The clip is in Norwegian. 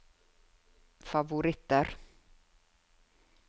favoritter